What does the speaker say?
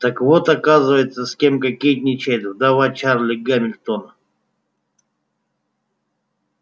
так вот оказывается с кем кокетничает вдова чарли гамильтона